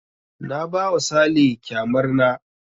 Na ba wa sale kyamar na